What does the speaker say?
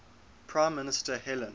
prime minister helen